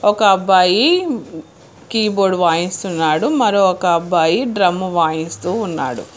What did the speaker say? ఒక అబ్బాయి keyboard వాయిస్తున్నాడు మరొ ఒక అబ్బాయి డ్రమ్ము వాయిస్తూ ఉన్నాడు.